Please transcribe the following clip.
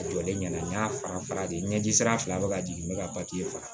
A jɔlen ɲɛna n y'a fara fara de ɲɛji sira fila bɛ ka jigin n bɛ ka papiye sɔrɔ